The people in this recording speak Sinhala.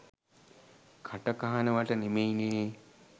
කට කහනවට නෙමෙයිනේ